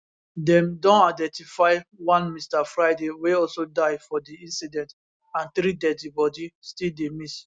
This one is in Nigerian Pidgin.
dem don identify one mr friday wey also die for di incident and three deadi bodies still dey miss